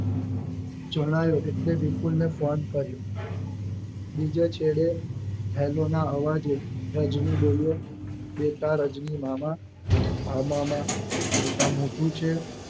જણાયો એટલે વિપુલને ફોન કર્યો બીજા છેડે Hello નાં અવાજે રજની બોલ્યો બેટા રજની મામા હા મામા બેટા મોટું છે